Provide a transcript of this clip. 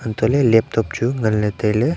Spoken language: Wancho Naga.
hantoh ley laptop chu ngan ley tai ley.